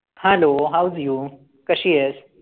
Hello how do you कशी आहेस?